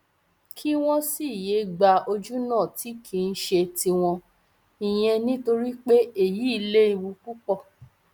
kí wọn sì yéé gba ojúnà tí kì í ṣe tiwọn ìyẹn nítorí pé èyí léwu púpọ